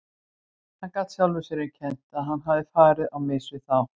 Hann gat sjálfum sér um kennt að hann hafði farið á mis við þá.